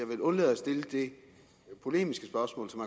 vil undlade at stille det polemiske spørgsmål som